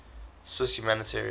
swiss humanitarians